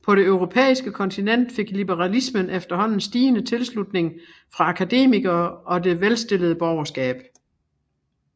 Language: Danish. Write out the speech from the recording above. På det europæiske kontinent fik liberalismen efterhånden stigende tilslutning fra akademikerne og det velstillede borgerskab